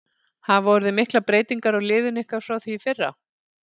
Hafa orðið miklar breytingar á liðinu ykkar frá því í fyrra?